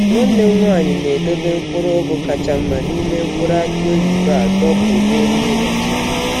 Nwanne m nwanyị na-edobe mkpụrụ ugu kacha mma n’ime mkpụrụ aki oyibo a dọpụ n’elu ụlọ.